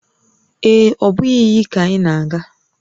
Ee e, ọ bụghị iyi ka anyị na-aga